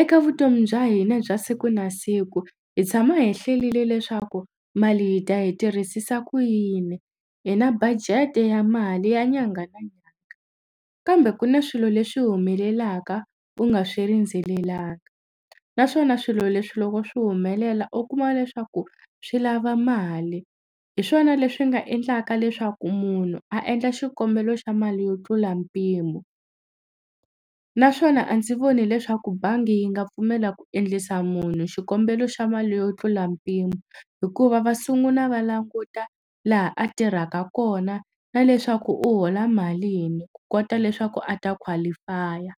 eka vutomi bya hina bya siku na siku hi tshama hi hlelile leswaku mali hi ta yi tirhisisa ku yini hi na budget ya mali ya nyangha na nyanga kambe ku na swilo leswi humelelaka u nga swi rindzelelanga naswona swilo leswi loko swi humelela u kuma leswaku swi lava mali hi swona leswi nga endlaka leswaku munhu a endla xikombelo xa mali yo tlula mpimo naswona a ndzi voni leswaku bangi yi nga pfumela ku endlisa munhu xikombelo xa mali yo tlula mpimo hikuva va sunguna va languta laha a tirhaka kona na leswaku u hola malini ku kota leswaku a ta qualify-a.